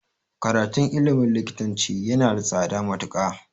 Karatun ilmin likitanci yana da tsada matuƙa